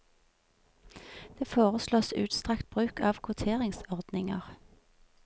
Det foreslås utstrakt bruk av kvoteringsordninger.